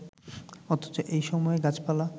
অথচ এই সময়ে গাছপালা